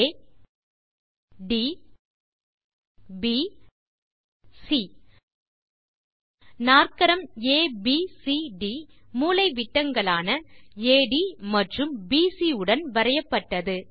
ஆ ட் ப் சி நாற்கரம் ஏபிசிடி மூலைவிட்டங்களான அட் மற்றும் பிசி உடன் வரையப்பட்டது